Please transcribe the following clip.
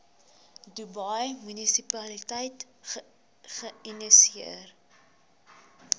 dubai munisipaliteit geïnisieer